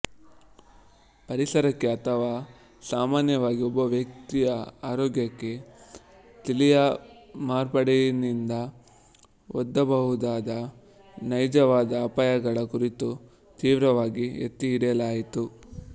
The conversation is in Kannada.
ಪರಿಸರಕ್ಕೆ ಅಥವಾ ಸಾಮಾನ್ಯವಾಗಿ ಒಬ್ಬ ವ್ಯಕ್ತಿಯ ಆರೋಗ್ಯಕ್ಕೆ ತಳೀಯ ಮಾರ್ಪಾಡಿನಿಂದ ಒಡ್ಡಬಹುದಾದ ನೈಜವಾದ ಅಪಾಯಗಳ ಕುರಿತು ತೀವ್ರವಾಗಿ ಎತ್ತಿಹಿಡಿಯಲಾಯಿತು